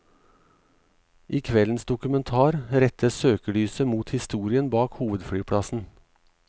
I kveldens dokumentar rettes søkelyset mot historien bak hovedflyplassen.